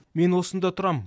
мен осында тұрам